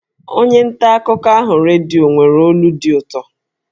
Onye nta akụkọ ahụ redio nwere olu dị ụtọ